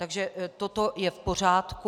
Takže toto je v pořádku.